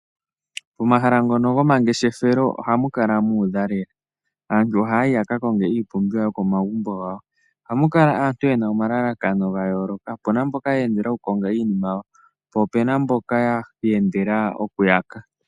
Momahala ngono goma ngeshethelo ohamu kala mu uva lela. Aantu ohaya yi yaka konge iipumbiwa yomo magumbo gawo, ohamu kala aantu yena oma lalakano ga yoloka. Opuna aantu ye endela oku konga iinima yawo, po opuna mboka ye endela oku yaka.